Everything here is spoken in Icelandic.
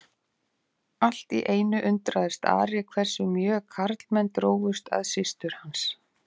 Allt í einu undraðist Ari hversu mjög karlmenn drógust að systur hans.